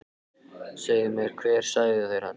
Segðu mér hver sagði þér þetta.